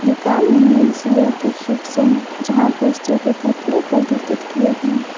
दुकान में men's wear का सेक्शन है जहां पुरुषों के कपड़े प्रदर्शित किए गए हैं।